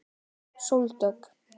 Sóldögg